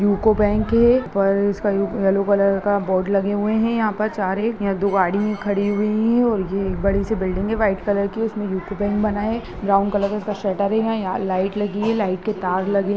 UCO bank है ऊपर इसका ये-येलो कलर का बोर्ड लगे हुए है यहां पर चार एक यहां दो गाड़ी है खड़ी हुई है और ये एक बड़ी सी बिल्डिंग है व्हाइट कलर की उसमें यूको बैंक बना है ब्राउन कलर का उसका शटर है यहां लाइट लगी है लाइट के तार लगे --